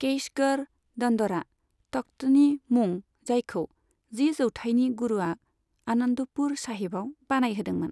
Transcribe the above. केशगढ़ दन्दरा तख्तनि मुं जायखौ जि जौथाइनि गुरूआ आनन्दपुर साहिबआव बानायहोदोंमोन।